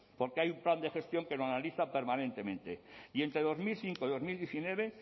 porque hay un plan de gestión que lo analiza permanentemente y entre dos mil cinco y dos mil diecinueve